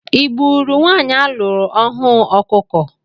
I gburu nwanyị a lụrụ ọhụụ ọkụkọ?